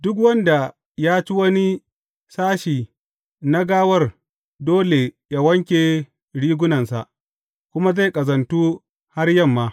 Duk wanda ya ci wani sashe na gawar dole yă wanke rigunansa, kuma zai ƙazantu har yamma.